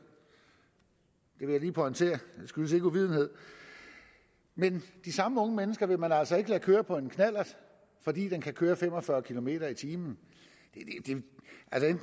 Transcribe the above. vil jeg lige pointere det skyldes ikke uvidenhed men de samme unge mennesker vil man altså ikke lade køre på en knallert fordi den kan køre fem og fyrre kilometer per time